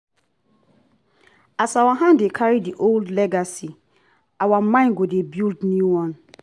e good make pikin sabi en yesterday so en go fit control tomorrow.